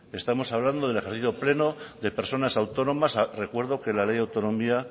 estamos hablando del ejercicio pleno de personas autónomas recuerdo que la ley autonomía